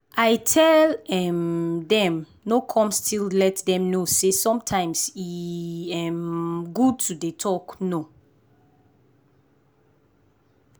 i tell um dem no come still let dem know say sometimes e um good to dey talk no.